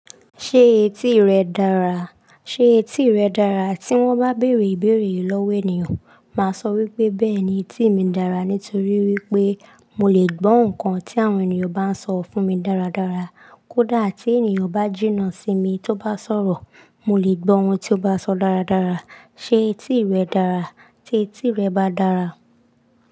"Ṣé etí rẹ dára?" ṣe etí rẹ dára? Tí wọ́n bá bèèrè ìbéèrè yì lọ́wọ́ ènìyàn, màá sọ wípé "Bẹ́ẹ̀ni, etí mi dára." nítorí wípé mo lè gbọ́ nǹkan tí àwọn ènìyàn bá ń sọ fún mi dáradára. Kódà tí ènìyàn bá jìnnà sí mi, tó bá sọ̀rọ̀, mo lè gbọ́ ohun tí ó bá sọ dáradára. "Ṣé etí rẹ dára?" tí etí rẹ bá dára.